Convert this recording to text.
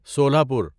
سولہ پور